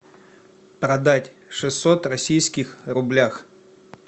продать шестьсот российских рублях